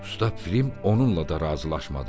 Usta Film onunla da razılaşmadı.